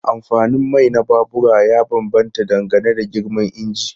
Amfanin mai na babura ya bambanta dangane da girman injin.